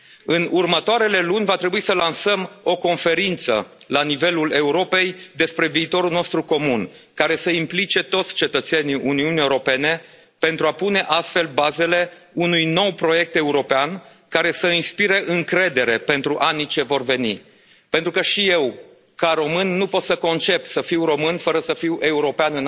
În următoarele luni va trebui să lansăm o conferință la nivelul Europei despre viitorul nostru comun, care să implice toți cetățenii Uniunii Europene, pentru a pune astfel bazele unui nou proiect european care să inspire încredere pentru anii ce vor veni, pentru că și eu, ca român, nu pot să concep să fiu român fără să fiu european